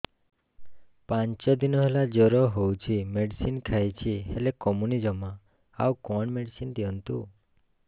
ପାଞ୍ଚ ଦିନ ହେଲା ଜର ହଉଛି ମେଡିସିନ ଖାଇଛି ହେଲେ କମୁନି ଜମା ଆଉ କଣ ମେଡ଼ିସିନ ଦିଅନ୍ତୁ